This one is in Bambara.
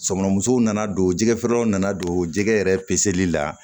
Sokɔnɔ musow nana don jɛgɛ feerelaw nana don jɛgɛ yɛrɛ peseli la